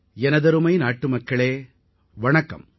எனதருமை நாட்டுமக்களே வணக்கம்